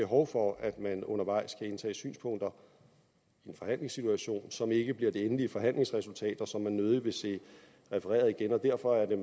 behov for at man undervejs kan indtage synspunkter som ikke bliver det endelige forhandlingsresultat og som man nødig vil se refereret igen derfor er